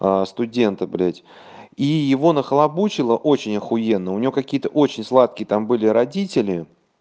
студенты блять и его нахлобучило очень ахуенно у него какие-то очень сладкие там были родители